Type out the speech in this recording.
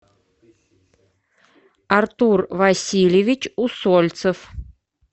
артур васильевич усольцев